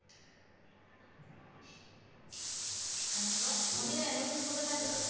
கண்டிப்பா அபிநயா நீங்க சொல்லுங்க